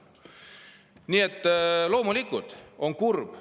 Nii et loomulikult on see kurb.